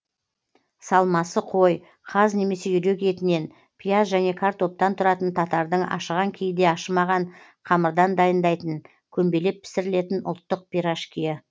салмасы қой қаз немесе үйрек етінен пияз және картоптан тұратын татардың ашыған кейде ашымаған қамырдан дайындайтын көмбелеп пісірілетін ұлттық пирожкиі